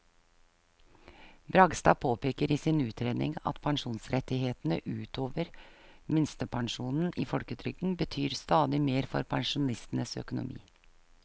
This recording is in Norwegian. Bragstad påpeker i sin utredning at pensjonsrettighetene ut over minstepensjonen i folketrygden betyr stadig mer for pensjonistenes økonomi.